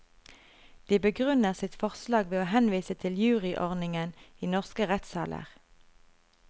De begrunner sitt forslag ved å henvise til juryordningen i norske rettssaler.